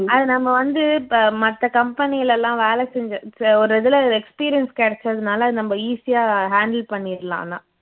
அது நம்ப வந்து இப்போ மத்த company ல லாம் வேலைசெஞ்சு ச்ச ஒரு இதுல experience கிடைச்சதுனால நம்ப easy ஆ handle பண்ணிடலாம் ஆனா